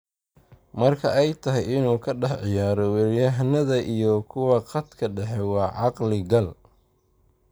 Marka ay tahay inuu ka dhex ciyaaro weeraryahannada iyo kuwa khadka dhexe waa caqli-gal.